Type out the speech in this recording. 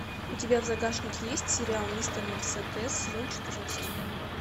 у тебя в загашнике есть сериал мистер мерседес сезон четырнадцать